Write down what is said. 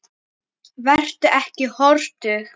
Vertu ekki hortug.